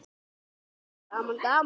Gaman gaman!